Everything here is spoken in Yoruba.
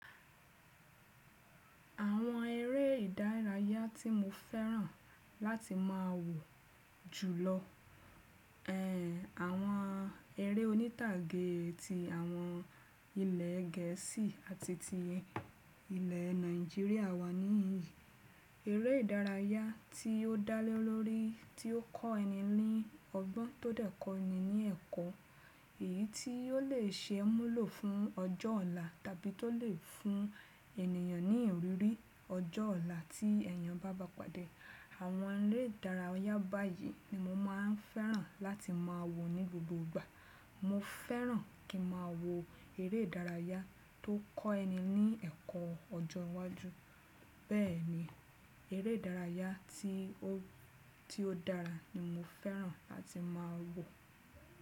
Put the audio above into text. Àwọn eré ìdárayá tí mo fẹ́ràn láti máa wò jùlọ, ẹ, àwọn eré onítàgé ti àwọn ilẹ̀ Gẹ̀ẹ́sì àti ti ilẹ̀ Nàìjíríà wà nií yì. Eré ìdárayá tí ó dálé lórí, tí ó kọ́ ẹni ní ọgbọ́n, tó dẹ́kọ ẹni ní ẹ̀kọ́, èyí tí ò lè ṣe múlò fún ọjọ́ ọ̀la tàbí tó lè fún ènìyàn ní ìrírí ọjọ́ ọ̀la tí èèyàn bá bá padà. Àwọn eré ìdárayá báyìí ni mo máa ń fẹ́ràn láti máa wò ní gbogbo ìgbà. Mo fẹ́ràn kí ma wò eré ìdárayá tó kọ́ ẹni ní ẹ̀kọ́ ọjọ́ iwájú. Bẹ́ẹ̀ni, eré ìdárayá tí ó, tí ó dára ni mo fẹ́ràn láti máa wò.